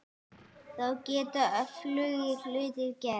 Þá geta öflugir hlutir gerst.